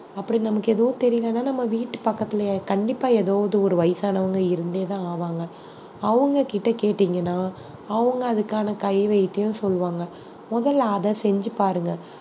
அப்படி நமக்கு எதுவும் தெரியலைன்னா நம்ம வீட்டு பக்கத்துலயே கண்டிப்பா ஏதாவது ஒரு வயசானவங்க இருந்தேதான் ஆவாங்க அவங்க கிட்ட கேட்டீங்கன்னா அவங்க அதுக்கான கை வைத்தியம் சொல்லுவாங்க முதல்ல அதை செஞ்சு பாருங்க